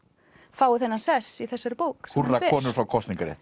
fái þennan sess í þessari bók húrra konur fá kosningarétt